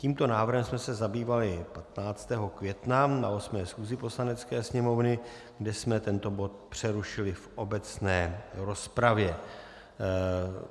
Tímto návrhem jsme se zabývali 15. května na 8. schůzi Poslanecké sněmovny, kde jsme tento bod přerušili v obecné rozpravě.